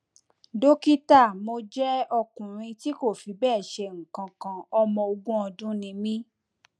dókítà mo jẹ ọkùnrin tí kò fi bẹẹ ṣe nǹkan kan ọmọ ogún ọdún ni mí